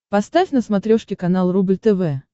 поставь на смотрешке канал рубль тв